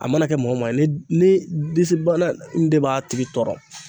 A mana kɛ mɔgɔ o maa ye ni disi bana n de b'a tigi tɔɔrɔ